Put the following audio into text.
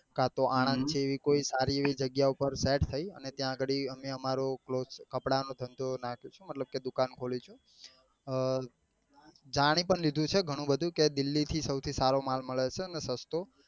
કાતો આણંદ જ્જેવી કોઈ સારી એવી જગ્યા પર set થઇ અને ત્યાં ગાડી અમે અમારો cloth કપડા નો ધંધો નાખીશું મતલબ કે દુકાન ખોલીશું અ જાની પણ લીધું છે ગણું બધું કે delhi થી સૌથી સારો માલ મળે છે અને સસ્તો